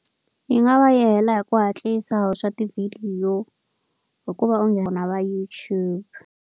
Yi nga va yela hi ku hatlisa swa tivhidiyo hikuva u nghena va YouTube.